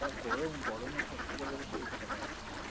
যা গরম, গরমে ভর্তা ইচ্ছা করে?